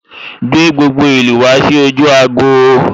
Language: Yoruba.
Gbé gbogbo ìlú ìlú wá sí ojú agbo'